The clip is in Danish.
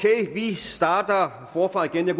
starter forfra igen jeg